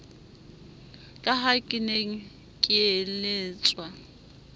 ka ha ke ne keeletswa